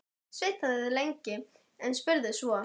Sveinn þagði lengi, en spurði svo